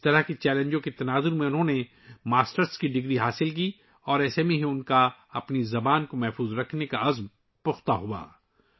اس طرح کے چیلنجوں کے درمیان، انہوں نے ماسٹرز کی ڈگری حاصل کی اور اس کے بعد ہی ان کا اپنی زبان کو محفوظ رکھنے کا عزم مضبوط ہوا